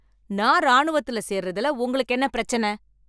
நான் ராணுவத்தில் சேர்வதில் உங்களுக்கு என்ன பிரச்சனை